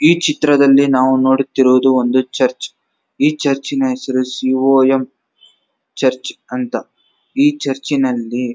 ಈ ಚಿತ್ರದಲ್ಲಿ ನಾವು ನಡುತ್ತಿರುವುದು ಒಂದು ಚರ್ಚ್ ಈ ಚರ್ಚಿ ನ ಹೆಸರು ಸಿ.ಓ.ಎಂ ಚರ್ಚ್ ಅಂತ ಈ ಚರ್ಚಿ ನಲ್ಲಿ --